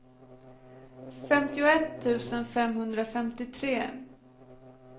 femtioett tusen femhundrafemtiotre